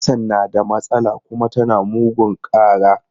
Kacan na da matsala kuma tana mugun ƙara.